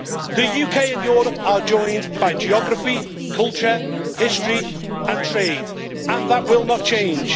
The UK and Europe are joined by geography, culture, history and trade, and that will not change.